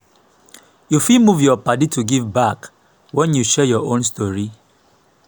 you fit move yur padi to give back wen yu share yur own stori.